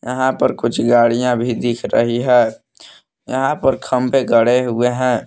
यहां पर कुछ गाड़ियां भी दिख रही है यहां पर खंबे गड़े हुए है।